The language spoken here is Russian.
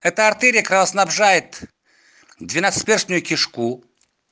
это артерия кровоснабжает двенадцатиперстную кишку